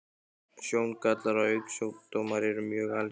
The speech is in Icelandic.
Sjóngallar og augnsjúkdómar eru mjög algengir.